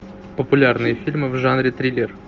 популярные фильмы в жанре триллер